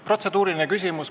Protseduuriline küsimus.